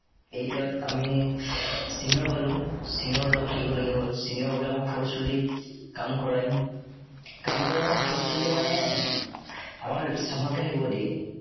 eight ত আমি senior পালো। senior ৰ লগত থাকিবলগীয়া হ'ল। senior বোৰে আমাক forcefulle কাম কৰায়। কাম কৰাই মানে forcefully মানে আমাক চাফাকে থাকিবলৈ দিয়ে।